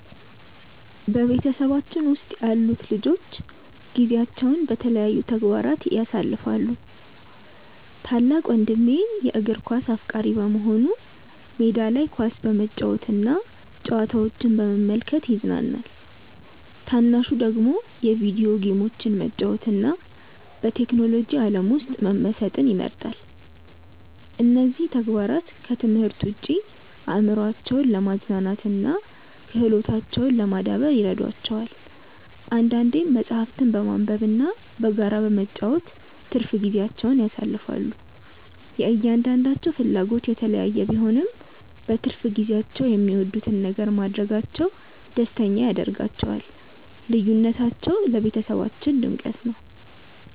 በቤተሰባችን ውስጥ ያሉት ልጆች ጊዜያቸውን በተለያዩ ተግባራት ያሳልፋሉ። ታላቅ ወንድሜ የእግር ኳስ አፍቃሪ በመሆኑ ሜዳ ላይ ኳስ በመጫወትና ጨዋታዎችን በመመልከት ይዝናናል። ታናሹ ደግሞ የቪዲዮ ጌሞችን መጫወትና በቴክኖሎጂ ዓለም ውስጥ መመሰጥ ይመርጣል። እነዚህ ተግባራት ከትምህርት ውጭ አእምሯቸውን ለማዝናናትና ክህሎታቸውን ለማዳበር ይረዷቸዋል። አንዳንዴም መጽሐፍትን በማንበብና በጋራ በመጫወት ትርፍ ጊዜያቸውን ያሳልፋሉ። የእያንዳንዳቸው ፍላጎት የተለያየ ቢሆንም፣ በትርፍ ጊዜያቸው የሚወዱትን ነገር ማድረጋቸው ደስተኛ ያደርጋቸዋል። ልዩነታቸው ለቤተሰባችን ድምቀት ነው።